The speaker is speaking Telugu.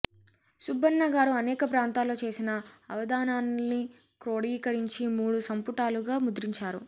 సుబ్బన్న గారు అనేక ప్రాంతాల్లో చేసిన అవధానాల్ని క్రోడీకరించి మూడు సంపుటాలుగా ముద్రించారు